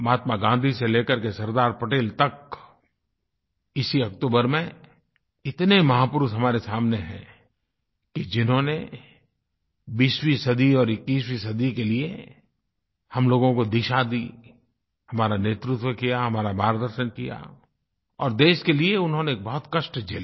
महात्मा गाँधी से लेकर के सरदार पटेल तक इसी अक्तूबर में इतने महापुरुष हमारे सामने हैं कि जिन्होंने 20वीं सदी और 21वीं सदी के लिए हम लोगों को दिशा दी हमारा नेतृत्व किया हमारा मार्गदर्शन किया और देश के लिए उन्होंने बहुत कष्ट झेले